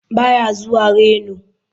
Ba ya zuwa reno.